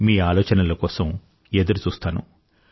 మీ ఆలోచనల కోసం ఎదురుచూస్తాను